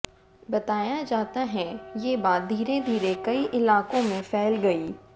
बताया जाता हैं ये बात धीरे धीरे कई इलाकों में फैल गई